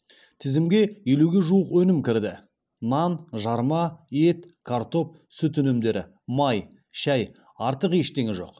тізімге елуге жуық өнім кірді нан жарма ет картоп сүт өнімдері май шәй артық ештеңе жоқ